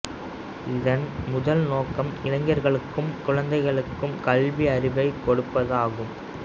இதன் முதல் நோக்கம் இளைஞர்களுக்கும் குழந்தைகளுக்கும் கல்வி அறிவைக் கொடுப்பது ஆகும்